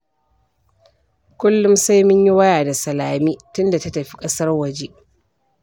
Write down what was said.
Kullum sai mun yi waya da Salame tunda ta tafi ƙasar waje